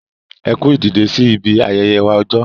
Ẹ kú ìdìdè sí ibi ayẹyẹ wa ọjọ.